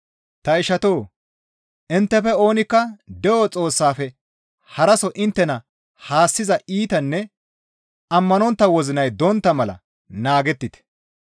Ta ishatoo! Inttefe oonikka de7o Xoossaafe haraso inttena haassiza iitanne ammanontta wozinay dontta mala naagettite.